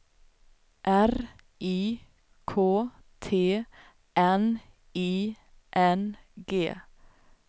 R I K T N I N G